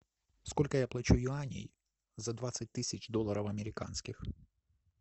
сколько я плачу юаней за двадцать тысяч долларов американских